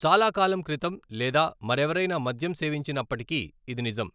చాలా కాలం క్రితం లేదా మరెవరైనా మద్యం సేవించినప్పటికీ ఇది నిజం.